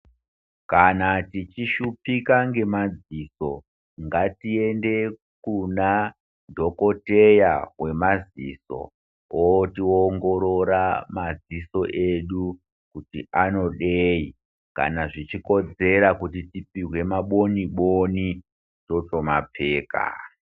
Kana tichishuphika ngemadziso, ngatiende kunadhogodheya wemadziso otiongorora madziso edu kuti anodei, kana zvichikodzera kuti tipihwe maboni-boni totomapfeka.